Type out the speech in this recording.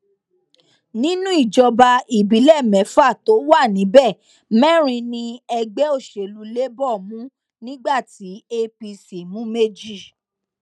nínú ìjọba ìbílẹ mẹfà tó wà níbẹ mẹrin ni ẹgbẹ òsèlú labour mú nígbà tí apc mú méjì